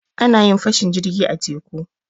A na yin fashin jirgi a teku.